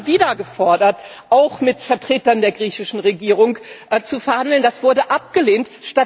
Wir haben immer wieder gefordert, auch mit Vertretern der griechischen Regierung zu verhandeln, das wurde abgelehnt.